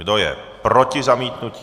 Kdo je proti zamítnutí?